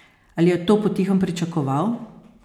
Ali je to potihem pričakoval?